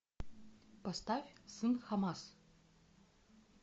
поставь сын хамас